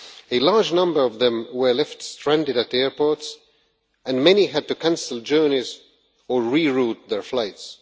A large number of them were left stranded at airports and many had to cancel journeys or re-route their flights.